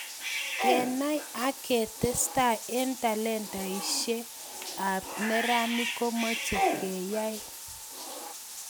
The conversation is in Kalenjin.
Kenai ak ketestai eng talantaishe ab neranik komoche keyay.